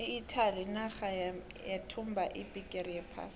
iitaly yinarha eyathumba ibhigiri yephasi